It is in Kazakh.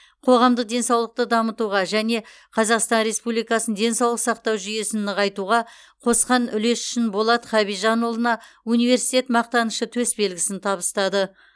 қоғамдық денсаулықты дамытуға және қазақстан республикасының денсаулық сақтау жүйесін нығайтуға қосқан үлесі үшін болат хабижанұлына университет мақтанышы төсбелгісін табыстады